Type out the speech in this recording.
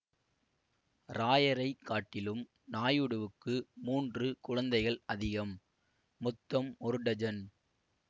ராயரைக் காட்டிலும் நாயுடுவுக்கு மூன்று குழந்தைகள் அதிகம் மொத்தம் ஒரு டஜன்